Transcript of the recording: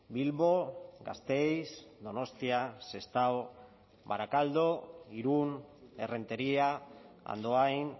bilbo gasteiz donostia sestao barakaldo irun errenteria andoain